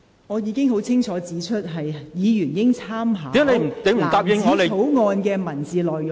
我已清楚指出，委員應以藍紙條例草案的文本為準。